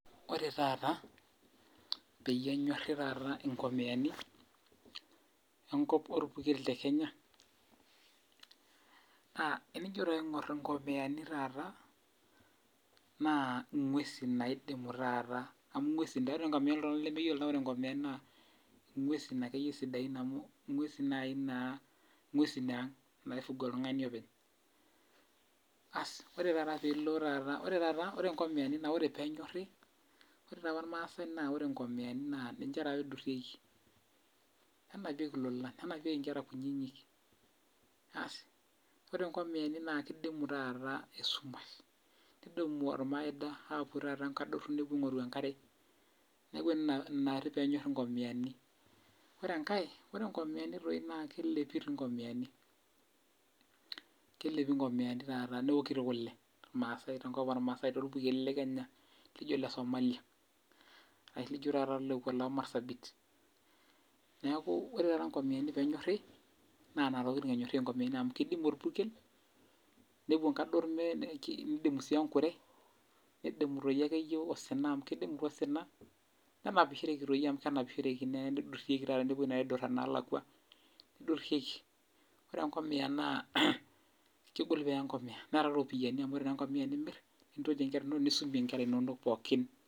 Ore taata peyie enyorri taata nkomiyani orpurkel te Kenya, naa teji taa aingor nkomiyani naa inguesin naidimu taata, ore nkomiyani toltungani lemeyiolo naa inguesin akeyie sidain amuu inguesin eang naifuga oltungani openy. Ore taata piilo, ore taata ore nkomiyani ore peenyorri ore taapa irmaasai naa nkomiyani taapa eidurrieki nenapieki ilolan nenapieki inkera kunyinyik. Asi ore nkomiyani naa keidim esumash neidimu ormaida nepuo taata nkaduor nepuo aingoru enkare neaku ina naari peyie enyorri nkomiyani. Ore enkai ore nkomiyani naa kelipu doi nkomiyani taata neoki tii kuke maasai tenkop enkenya laijio lesomalia ashu leijo taata lekua leMarsabit. Neaku ore taata peenyorri nkomiyani naa nena tokitin enyorrieki nkomiyani amu kedimu orpurkel, nepuo nkador neidim sii ekure, mme kedimu toi akeyie osuna amuu keidim tii osina. Nenapishoreki amuu kenapishoreki toi neeni neidurieki nepui naaidura naalakua. Keidurrieki. Ore taa enkomiya na kegol peeye enkomia neeta tii iropiyiani amu ore taa enkomiya tenimir nitotie inkera nisumie ikera inonok pooki